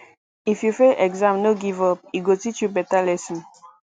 if you fail exam no give up e go teach you beta lesson